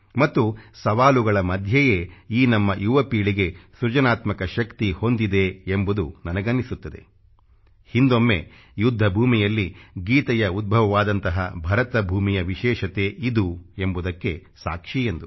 ಮತ್ತು ಸವಾಲುಗಳ ಮಧ್ಯೆಯೇ ಈ ನಮ್ಮ ಯುವ ಪೀಳಿಗೆ ಸೃಜನಾತ್ಮಕ ಶಕ್ತಿ ಹೊಂದಿದೆ ಎಂಬುದು ನನಗನ್ನಿಸುತ್ತದೆ ಹಿಂದೊಮ್ಮೆ ಯುದ್ಧ ಭೂಮಿಯಲ್ಲಿ ಗೀತೆಯ ಉದ್ಭವವಾದಂತಹ ಭರತ ಭೂಮಿಯ ವಿಶೇಷತೆ ಇದು ಎಂಬುದಕ್ಕೆ ಸಾಕ್ಷಿ ಎಂದು